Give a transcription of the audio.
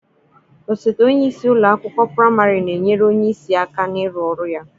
Osote onye isi ụlọ akwụkwọ praịmarị na-enyere onye isi aka n'ịrụ ọrụ ya.